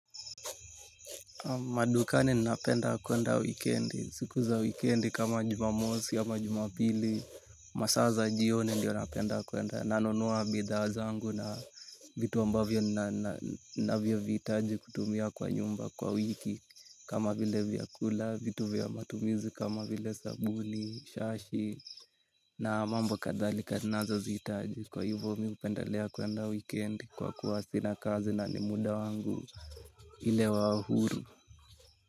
Madukani ninapenda kuenda wikendi. Siku za wikendi kama jumamosi ama juma pili. Masaa za jioni ndiyo napenda kuenda. Na nunua bidhaa zangu na vitu ambavyo ninavyovihitaji kutumia kwa nyumba kwa wiki. Kama vile vya kula vitu vya matumizi kama vile sabuni, shashi na mambo kadhalika nazo zihitaji. Kwa hivyo mimi hupendelea kuenda wikendi kwa kuwa sina kazi na ni muda wangu ile wa huru.